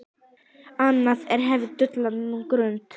Anna dvelur nú á Grund.